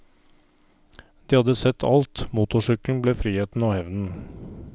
De hadde sett alt, motorsykkelen ble friheten og hevnen.